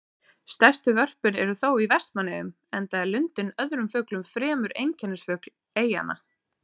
Stærstu vörpin eru þó í Vestmannaeyjum, enda er lundinn öðrum fuglum fremur einkennisfugl eyjanna.